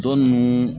Dɔ ninnu